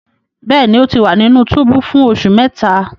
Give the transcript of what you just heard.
Bẹẹni, O ti wa ninu tubu fun oṣu mẹta